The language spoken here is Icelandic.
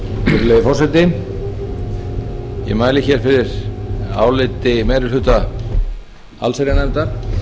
virðulegi forseti ég mæli hér fyrir áliti meiri hluta allsherjarnefndar